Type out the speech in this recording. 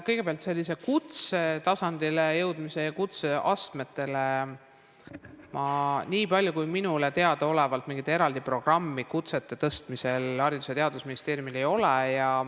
Kõigepealt, sellist kutsetasandile jõudmise ja kutsete saavutamise eraldi programmi minule teadaolevalt Haridus- ja Teadusministeeriumil ei ole.